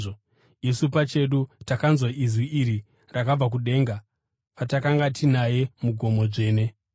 Isu pachedu takanzwa inzwi iri rakabva kudenga patakanga tinaye mugomo dzvene.